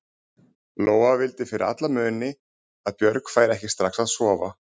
Lóa vildi fyrir alla muni að Björg færi ekki strax að sofa.